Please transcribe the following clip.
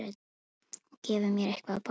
Og gefi mér eitthvað að borða.